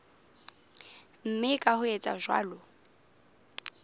mme ka ho etsa jwalo